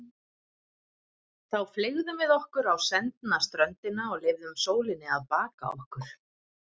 Þá fleygðum við okkur á sendna ströndina og leyfðum sólinni að baka okkur.